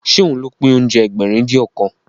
Ṣé òun ló pín oúnjẹ Ẹgbẹ̀rin-dín-ọ̀kan?